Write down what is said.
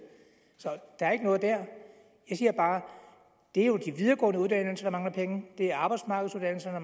så der er ikke noget der jeg siger bare det er jo de videregående uddannelser der mangler penge det er arbejdsmarkedsuddannelserne